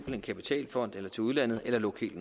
en kapitalfond eller til udlandet eller lukke helt